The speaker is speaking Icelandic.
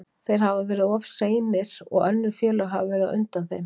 Þeir hafa verið of seinir og önnur félög hafa verið á undan þeim.